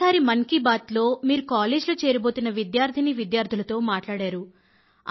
గతసారి మన్ కీ బాత్ లో మీరు కాలేజ్ లో చేరబోతున్న విద్యార్థినీ విద్యార్థులతో మాట్లాడారు